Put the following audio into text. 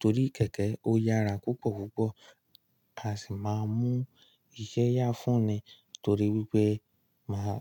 torí kẹ̀kẹ́ ó yára púpọ̀púpọ̀. A sì máa mú iṣẹ́ yá fún ni torí wípé máa.